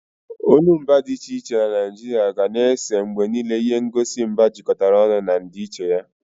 Olumba dị iche iche na Naijiria ga na-ese mgbe niile ihe ngosi mba jikọtara ọnụ na ndịiche ya.